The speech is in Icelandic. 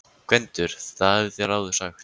GVENDUR: Það hafið þér áður sagt.